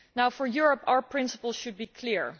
For Europe our principles should be clear.